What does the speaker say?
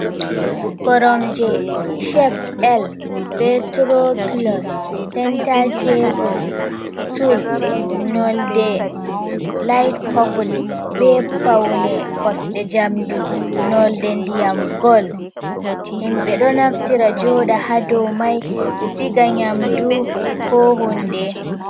Koromje "cep L" bee "turoopulos sentaa teebul sutul" nonnde "laayit popul" bee pawne kosɗe njamndi, nonnde ndiyam "gol". Himɓe ɗo naftira jooɗa ha dow may, siga nyaamdu koo huunde.